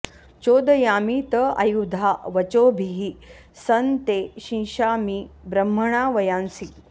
चोदयामि त आयुधा वचोभिः सं ते शिशामि ब्रह्मणा वयांसि